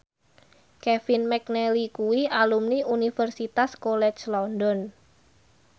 Kevin McNally kuwi alumni Universitas College London